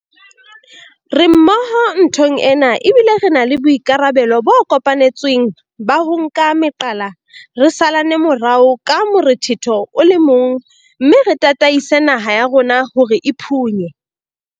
Re mmoho nthong ena, ebile re na le boikarabelo bo kopanetsweng ba ho nka meqala, re salane morao ka morethetho o le mong mme re tataise naha ya rona hore e phunye